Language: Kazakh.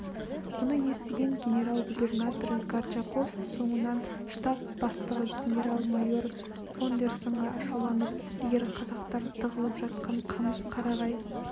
мұны естіген генерал-губернатор горчаков соңынан штаб бастығы генерал-майор фондерсонға ашуланып егер қазақтар тығылып жатқан қамыс қарағай